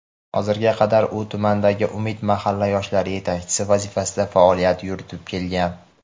Hozirga qadar u tumandagi "Umid" mahalla yoshlar yetakchisi vazifasida faoliyat yuritib kelgan.